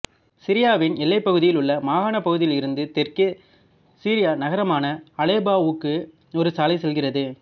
சிரியாவின் எல்லை பகுதியில் உள்ள மாகாணப் பகுதியியல் இருந்து தெற்கே சிரிய நகரமான அலெப்போவுக்கு ஒரு சாலை செல்கிறது